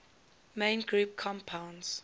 main group compounds